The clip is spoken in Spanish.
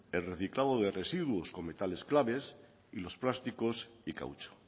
el reciclado de residuos con metales claves y los plásticos y caucho